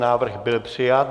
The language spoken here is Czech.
Návrh byl přijat.